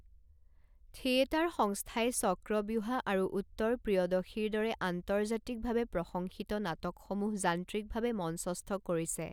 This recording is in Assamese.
থিয়েটাৰ সংস্থাই চক্ৰব্যুহা আৰু উত্তৰপ্ৰিয়দশীৰ দৰে আন্তৰ্জাতিক ভাৱে প্ৰশংসিত নাটকসমূহ যান্ত্ৰিকভাৱে মঞ্চস্থ কৰিছে।